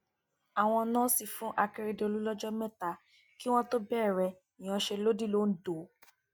àwọn nọọsì fún àkèrèdọlù lọjọ mẹta kí wọn tóó bẹrẹ ìyanṣẹlódì londo